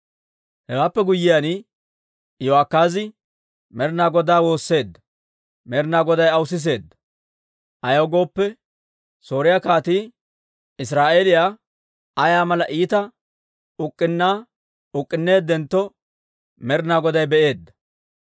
Hewaappe guyyiyaan, Iyo'akaazi Med'ina Godaa woosseedda. Med'ina Goday aw siseedda; ayaw gooppe, Sooriyaa kaatii Israa'eeliyaa ayaa mala iita uk'k'unnaa uk'k'unneeddentto Med'ina Goday be'eedda.